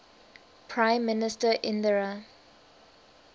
prime minister indira